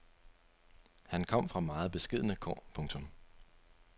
Han kom fra meget beskedne kår. punktum